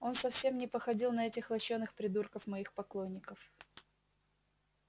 он совсем не походил на этих лощёных придурков моих поклонников